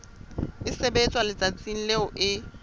e sebetswa letsatsing leo e